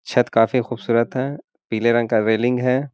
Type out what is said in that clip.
छत काफी खूबसूरत है। पिले रंग का रेलिंग है।